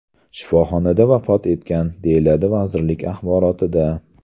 shifoxonada vafot etgan”, deyiladi vazirlik axborotida.